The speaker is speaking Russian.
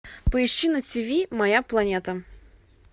поищи на ти ви моя планета